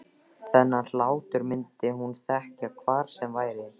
Þennan hlátur myndi hún þekkja hvar sem væri.